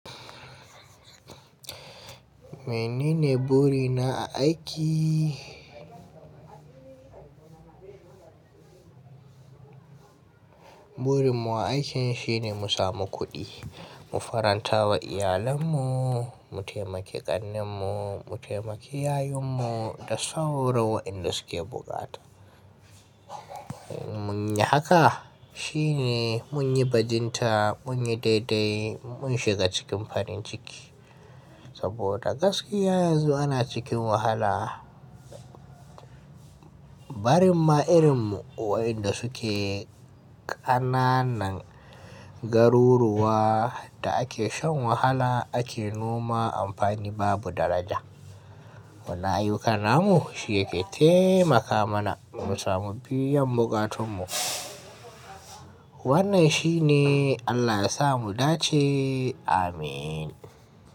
Menene buri na a aiki? Burin mu a aikin shine mu samu kuɗi, mu faranta wa iyalannu, mu taimaki ƙannunmu, mu taimaki yayunmu da sauro wa inda suke bukata. Mun yi haka shine mun yi bajinta, mun yi daidai, mun shiga cikin farin ciki. Saboda gaskiya yanzu ana cikin wahala. Barin ma irin mu wa inda suke ƙananan garuruwa da ake shan wahala ake noma amfani babu daraja. Wannan ayyukan namu shine yake taimaka mana mu samu biyan bukatunmu. Wannan shi ne Allah ya sa mu dace. Amin.